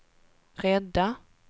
rädda